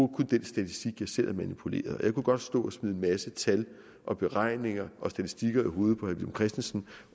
den statistik jeg selv har manipuleret jeg kunne godt stå og smide en masse tal og beregninger og statistikker i hovedet på herre villum christensen